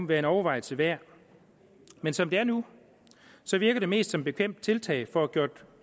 være en overvejelse værd men som det er nu virker det mest som et bekvemt tiltag for at gøre